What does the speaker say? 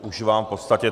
Už mám v podstatě.